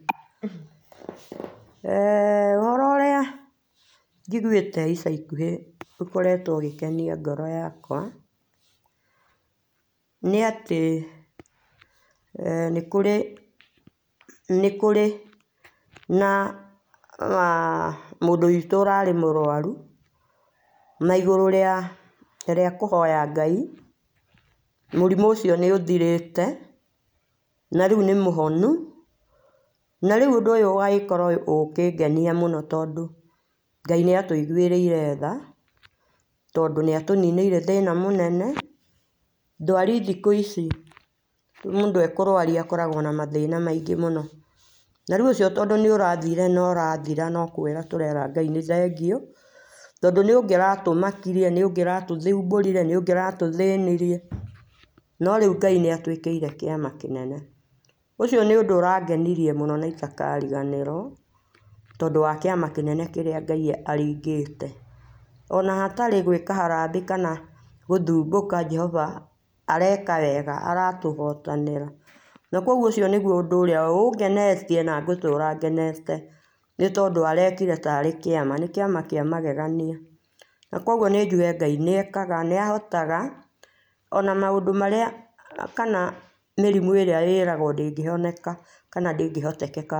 [Eeh]ũhoro ũrĩa njigũĩte ica ikũhĩ ũkoretwo ũgĩkenia ngoro yakwa nĩ atĩ eeh nĩkũrĩ nĩkũrĩ na[aah] mũndũ witũ ũrarĩ mũrwarũ na igũrũ rĩa kũhoya Ngai mũrimũ ũcio nĩ ũthirĩte na rĩũ nĩ mũhonũ na rĩũ ũndũ ũyũ ũgagĩkorwa ũkĩngania mũno tondũ Ngai nĩatũigũĩrĩire tha nĩatũninĩire thĩna mũnene, ndwarĩ thikũ ici mũndũ ekũrwaria akoragwo na mathĩna maingĩ mũno na rĩũ ũcio nĩ ũrathire no ũrathira no kwĩra tũrera Ngai nĩ thengio tondũ nĩ ũngĩraũmakĩrie, nĩũngĩratũthũmbũrĩre, nĩũngĩratũthĩnirie no rĩũ Ngai nĩatwĩkĩire kĩama kĩnene ũcio nĩ ũndũ ũrangeniria mũno na itakarĩganĩrwo tondũ wa kĩama kĩnene kĩrĩa Ngai arĩngĩte ona hatarĩ gwĩka harambĩ kana gũthũmbũka Jehoba areka wega aratũhotanĩra na kũogũo nĩgũo ũndũ ũrĩa ũngenetie na ngũtũra ngenete nĩ tondũ arekire tarĩ kĩama nĩ kĩama kĩa magegania na kũogũo nĩ njũge Ngai nĩekaga nĩahoaga ona maũndũ marĩa kana mĩrimũ ĩrĩa ĩragwo ndĩgĩhoneka kana ndũngĩhotekeka.